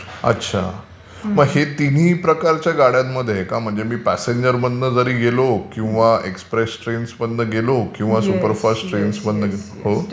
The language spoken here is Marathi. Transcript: अच्छा. मग हे तिन्ही प्रकारच्या गाड्यांमध्ये आहे का म्हणजे प्यासेंजरमधून जारी गेलो किंवा एक्सप्रेस ट्रेन्समधून गेलो किंवा किंवा सुपरफास्ट ट्रेन्स मधून...